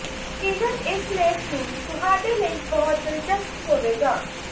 ਯਕੀਨਨ ਇਸ ਲੇਖ ਨੂੰ ਤੁਹਾਡੇ ਲਈ ਬਹੁਤ ਹੀ ਦਿਲਚਸਪ ਹੋਵੇਗਾ